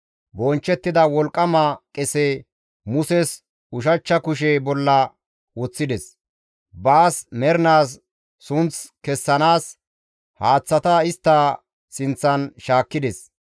Bonchchettida wolqqama qese, Muses ushachcha kushe bolla woththides; baas mernaas sunth kessanaas, haaththata istta sinththan shaakkides.